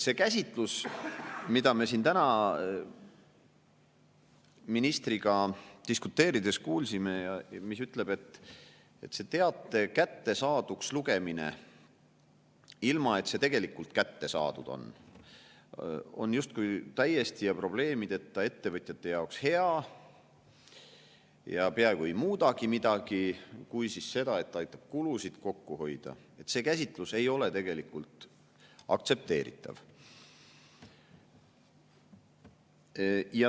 See käsitlus, mida me siin täna ministriga diskuteerides kuulsime ja mis ütleb, et teate kättesaaduks lugemine, ilma et see tegelikult kätte saadud on, on justkui täiesti probleemideta ja ettevõtjate jaoks hea ja peaaegu ei muudagi midagi, kui, siis seda, et aitab kulusid kokku hoida, ei ole aktsepteeritav.